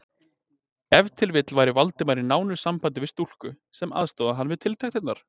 Ef til vill væri Valdimar í nánu sambandi við stúlku, sem aðstoðaði hann við tiltektirnar?